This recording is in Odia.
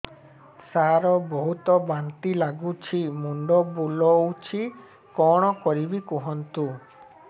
ସାର ବହୁତ ବାନ୍ତି ଲାଗୁଛି ମୁଣ୍ଡ ବୁଲୋଉଛି କଣ କରିବି କୁହନ୍ତୁ